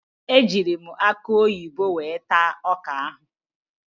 Ejiiri m akụ oyibo were taa ọka ahụ.